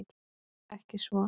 Ekki svo.